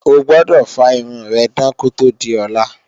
O gbọdọ̀ fá irun rẹ dán kó tó di ọ̀la!